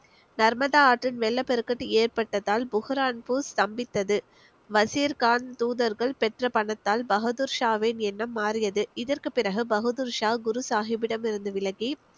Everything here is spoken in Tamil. நர்மதா ஆற்றில் வெள்ளப்பெருக்கு ஏற்பட்டதால் புர்ஹான்பூர் ஸ்தம்பித்தது வசீர் கான் தூதர்கள் பெற்ற பணத்தால் பகதூர்ஷாவின் எண்ணம் மாறியது இதற்கு பிறகு பகதூர்ஷா குரு சாஹிப்பிடம் இருந்து விலகி